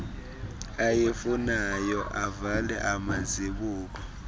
ayifunayo avale amazibuko